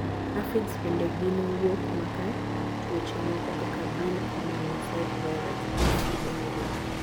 Aphids bende gin wuok maka tuoche moko kaka bean common mosaic virus (BCMV).